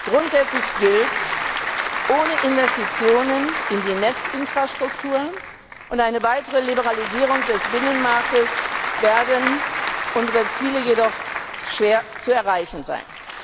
Grundsätzlich gilt Ohne Investitionen in die Netzinfrastruktur und eine weitere Liberalisierung des Binnenmarktes werden unsere Ziele jedoch schwer zu erreichen sein.